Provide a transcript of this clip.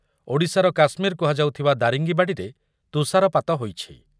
ଓଡ଼ିଶାର କାଶ୍ମୀର କୁହାଯାଉଥିବା ଦାରିଙ୍ଗିବାଡ଼ିରେ ତୁଷାରପାତ ହୋଇଛି ।